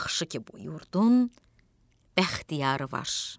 Yaxşı ki, bu yurdun Bəxtiyarı var.